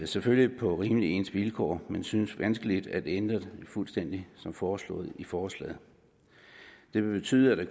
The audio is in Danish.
selvfølgelig på rimelig ens vilkår men det synes vanskeligt at ændre det fuldstændig som foreslået i forslaget det vil betyde at det